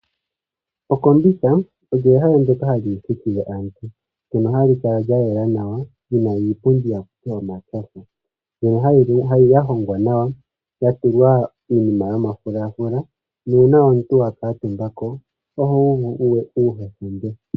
Okombitha olyo ehala ndoka hali thiki aantu, ndono hali kala lya yela nawa, lyina iipundi haku ti omatyofa, mbyono ya hongwa nawa, ya tulwa iinima yomafulafula nuuna omuntu wa kuutumba ko ohu uvu uuhetumbe.